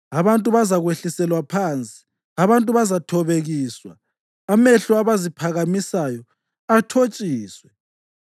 Abantu bazakwehliselwa phansi, abantu bazathobekiswa, amehlo abaziphakamisayo athotshiswe.